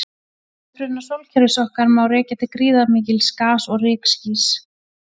Uppruna sólkerfis okkar má rekja til gríðarmikils gas- og rykskýs.